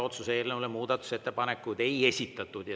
Otsuse eelnõu kohta muudatusettepanekuid ei ole esitatud.